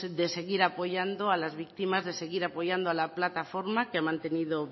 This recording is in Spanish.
seguir apoyando a las víctimas de seguir apoyando a la plataforma que ha mantenido